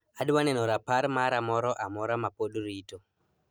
Adwa neno rapar mara moro amora ma pod rito.